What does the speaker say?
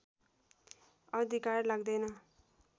अधिकार लाग्दैन